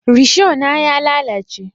Risho na ya lalace